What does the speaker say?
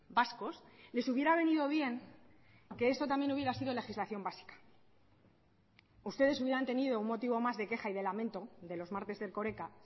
vascos les hubiera venido bien que esto también hubiera sido legislación básica ustedes hubieran tenido un motivo más de queja y de lamento de los martes de erkoreka